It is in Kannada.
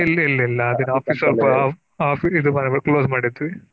ಇಲ್ಲ ಇಲ್ಲ ಇಲ್ಲ ಅದಕ Office ಸ್ವಲ್ಪ Office ಇದು ಮಾಡಿದ್ವಿ Close ಮಾಡಿದ್ವಿ.